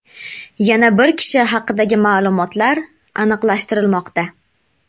Yana bir kishi haqidagi ma’lumotlar aniqlashtirilmoqda.